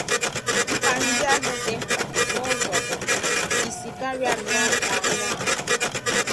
Mkpa ndị ahụ dị mkpa n’ụzọ bụ́ isi, karịa nnọọ mkpa anụ ahụ.